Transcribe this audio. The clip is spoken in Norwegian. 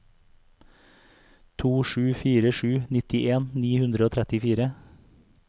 to sju fire sju nittien ni hundre og trettifire